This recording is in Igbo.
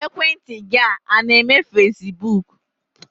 Ekwentị gị a na-eme fesibuuku?